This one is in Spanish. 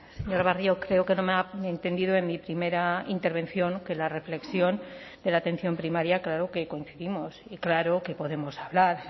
señor barrio creo que no me ha entendido en mi primera intervención que la reflexión de la atención primaria claro que coincidimos y claro que podemos hablar